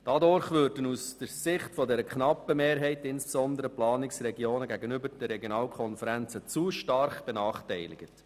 Dadurch würden aus Sicht der knappen Mehrheit insbesondere die Planungsregionen gegenüber den Regionalkonferenzen zu stark benachteiligt.